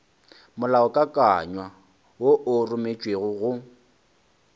molaokakanywa wo o rometšwego go